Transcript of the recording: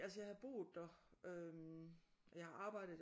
Altså jeg havde boet der og jeg har arbejdet der og